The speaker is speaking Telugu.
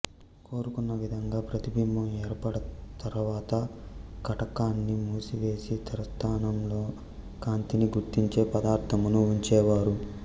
కోరుకున్న విధంగా ప్రతిబింబం ఏర్పడ్డ తర్వాత కటకాన్ని మూసివేసి తెర స్థానంలో కాంతిని గుర్తించే పదార్థమును ఉంచేవారు